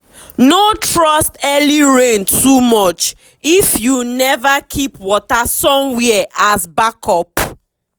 no trust early rain too much if you never keep water somewhere as backup.